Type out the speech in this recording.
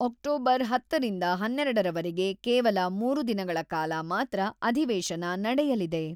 October ಹತ್ತರಿಂದ ಹನ್ನೆರಡರರ ವರೆಗೆ ಕೇವಲ ಮೂರು ದಿನಗಳ ಕಾಲ ಮಾತ್ರ ಅಧಿವೇಶನ ನಡೆಯಲಿದೆ.